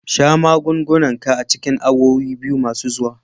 Sha magungunan ka a cikin awowi biyu masu zuwa.